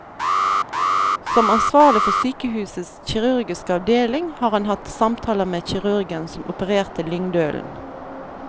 Som ansvarlig for sykehusets kirurgiske avdeling har han hatt samtaler med kirurgen som opererte lyngdølen.